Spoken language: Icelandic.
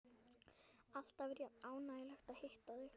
Alltaf er jafn ánægjulegt að hitta þig.